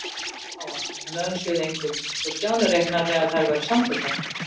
Þær litu á hann, en önsuðu engu, svo Stjáni reiknaði með að þær væru samþykkar.